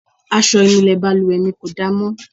Aṣọ ìnulẹ̀ balùwẹ̀ mi kò da mọ́.